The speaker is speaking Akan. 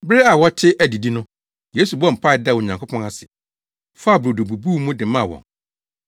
Bere a wɔte adidii no, Yesu bɔɔ mpae daa Onyankopɔn ase, faa brodo bubuu mu de maa wɔn.